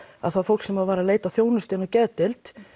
að það fólk sem var að leita að þjónustu inn á geðdeild